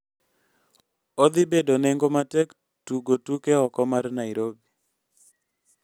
odhi bedo nengo matek tugo tuke oko mar Nairobi